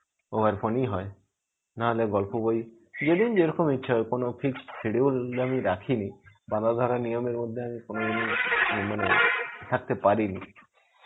over phone ই হয়. নাহলে গল্প বই. যেদিন যেরকম ইচ্ছা হয়. কোনো fixed schedule আমি রাখিনি. বাধাধরা নিয়মের মধ্যে আমি কোনদিন মানে থাকতে পারিনি.